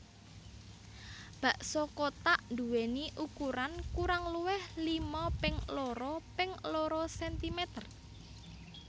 Bakso kothak nduwèni ukuran kurang luwih lima ping loro ping loro sentimeter